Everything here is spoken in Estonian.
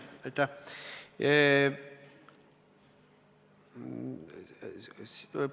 Aitäh!